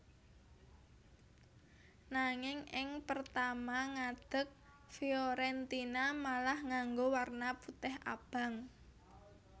Nanging ing pertama ngadeg Fiorentina malah nganggo warna putih abang